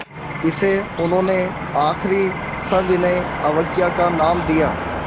इसे उन्होंने आख़िरी सविनय अवज्ञा का नाम दिया